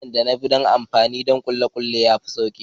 Hanyar da na yi amfani donkulikuli ya fi sauƙi.